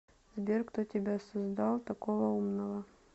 сбер кто тебя создал такого умного